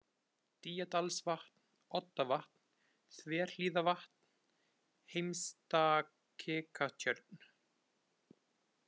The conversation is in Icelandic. Dýjadalsvatn, Oddavatn, Þverhlíðarvatn, Heimstakikatjörn